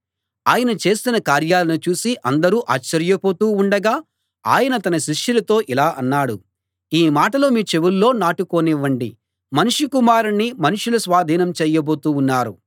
ఆయన చేసిన కార్యాలను చూసి అందరూ ఆశ్చర్యపోతూ ఉండగా ఆయన తన శిష్యులతో ఇలా అన్నాడు ఈ మాటలు మీ చెవుల్లో నాటుకోనివ్వండి మనుష్య కుమారుణ్ణి మనుషుల స్వాధీనం చేయబోతూ ఉన్నారు